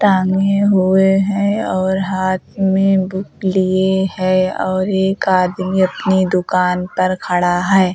टाँगे हुए हैं और हाथ में बुक लिए है और एक आदमी अपनी दुकान पर खड़ा है।